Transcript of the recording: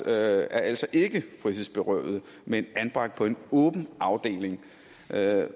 er altså ikke frihedsberøvede men anbragt på en åben afdeling